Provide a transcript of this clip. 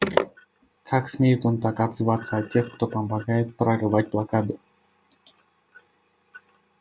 как смеет он так отзываться о тех кто помогает прорывать блокаду